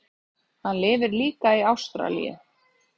Hann lifir líka í Ástralíu.